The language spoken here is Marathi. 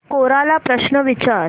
कोरा ला प्रश्न विचार